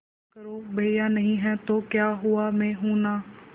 मत करो भैया नहीं हैं तो क्या हुआ मैं हूं ना